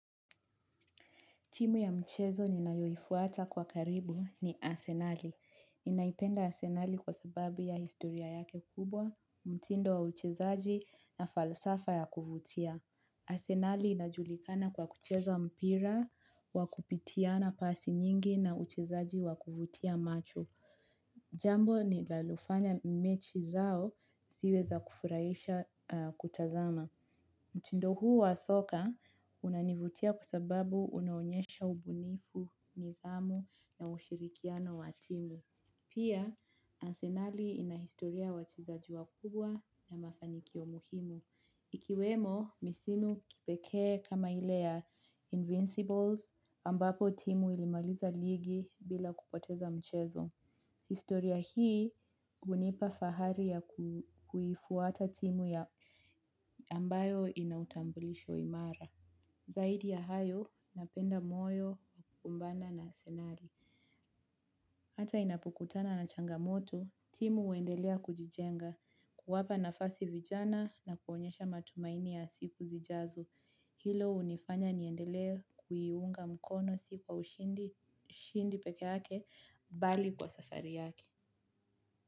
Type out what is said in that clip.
Timu ya mchezo ninayoifuata kwa karibu ni asenali. Ninaipenda Asenali kwa sababu ya historia yake kubwa, mtindo wa uchezaji na falsafa ya kuvutia. Asenali inajulikana kwa kucheza mpira, wa kupitiana pasi nyingi na uchezaji wakuvutia macho. Jambo ninalofanya mechi zao ziwe za kufurahisha kutazama. Mtindo huu wa soka unanivutia kwa sababu unaonyesha ubunifu nidhamu na ushirikiano wa timu. Pia, ansenali ina historia ya wachezaji wakubwa na mafanikio muhimu. Ikiwemo, misimu kipekee kama ile ya invincibles ambapo timu ilimaliza ligi bila kupoteza mchezo. Historia hii hunipa fahari ya kuifuata timu ya ambayo inautambulisho imara. Zaidi ya hayo napenda moyo, kumbana na asenali. Hata inapokutana na changamoto, timu uendelea kujijenga, kuwapa nafasi vijana na kuonyesha matumaini ya siku zijazo. Hilo unifanya niendelee kuiunga mkono si kwa ushindi pekeake, bali kwa safari yake.